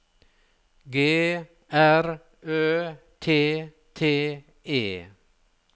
G R Ø T T E